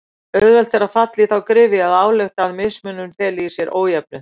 Auðvelt er að falla í þá gryfju að álykta að mismunur feli í sér ójöfnuð.